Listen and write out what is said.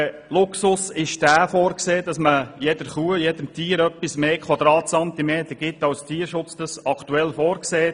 Als Luxus ist vorgesehen, dass man jedem Tier etwas mehr Quadratzentimeter Platz einräumt, als es der Tierschutz aktuell verlangt.